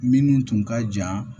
Minnu tun ka jan